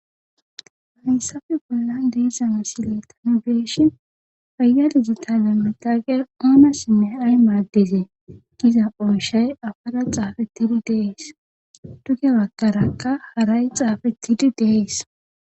Haynsafe bolla diisama sile tani beeshin payyadigitame mitaaqe oonassinne aray maaddizee giza ooshay afada xaafettidi dees duge wakarakka haray xaafettidi dees.